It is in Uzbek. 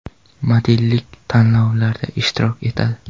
Modellik tanlovlarida ishtirok etadi.